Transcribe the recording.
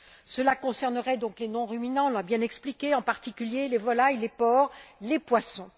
Cela concernerait, donc, les non ruminants on l'a bien expliqué en particulier les volailles, les porcs et les poissons.